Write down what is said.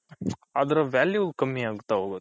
other value ಕಮ್ಮಿ ಆಗ್ತಾ